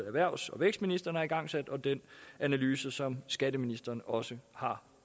erhvervs og vækstministeren har igangsat og den analyse som skatteministeren også har